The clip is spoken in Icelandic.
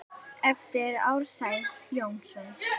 eftir Ársæl Jónsson